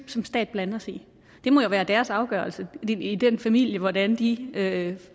som stat blande os i det må jo være deres afgørelse i den familie hvordan de kan